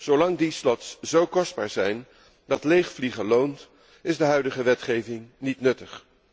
Zolang die slots zo kostbaar zijn dat leegvliegen loont, is de huidige wetgeving niet nuttig.